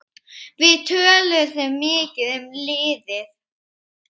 Við töluðum mikið um liðið.